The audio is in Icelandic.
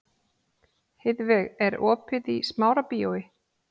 Heiðveig, er opið í Smárabíói?